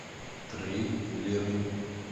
трейлеры